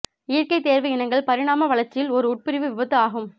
இயற்கை தேர்வு இனங்கள் பரிணாம வளர்ச்சியில் ஒரு உட்பிரிவு விபத்து ஆகும்